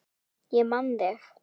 Ég man þig.